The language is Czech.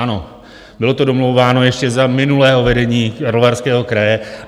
Ano, bylo to domlouváno ještě za minulého vedení Karlovarského kraje.